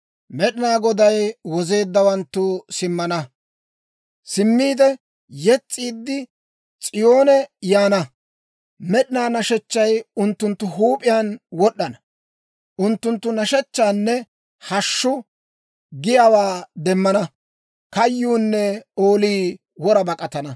Med'inaa Goday wozeeddawanttu simmana; yes's'iiddi, S'iyoone yaana; med'inaa nashechchay unttunttu huup'iyaan wod'd'ana. Unttunttu nashshechchaanne hashshu giyaawaa demmana; kayyuunne oolii wora bak'atana.